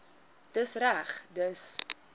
dis reg dis